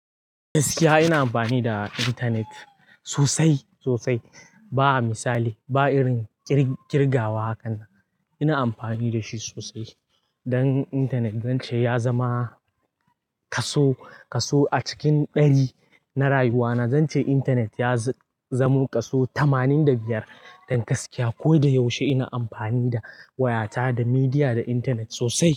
Gaskiya ina amfani da intanet sosai, sosai. Ba misali, ba irin kirgawa haka. Ina amfani da shi sosai. Dan intanet zance ya zama kaso, kaso a cikin ɗari na rayuwa na. Zance intanet ya zamo kaso tamanin da biyar. Don gaskiya kodayaushe ina amfani da wayata, da midiya, da intanet sosai.